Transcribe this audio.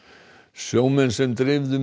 sjómenn sem dreifðu